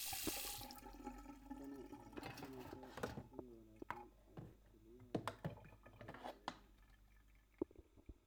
Tani waxay tusinaysaa sida wanaagsan ee kelyahaagu u shaqaynayaan.